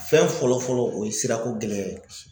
Fɛn fɔlɔ fɔlɔ o ye sirako gɛlɛya ye.